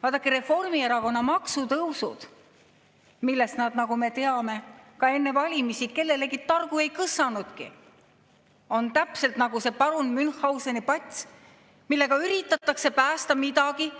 Vaadake, Reformierakonna maksutõusud, millest nad, nagu me teame, enne valimisi targu kellelegi ei kõssanudki, on täpselt nagu see parun Münchhauseni pats – sellega üritatakse päästa midagi,